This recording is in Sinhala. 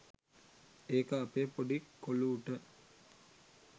ඒක අපේ පොඩි කොලූට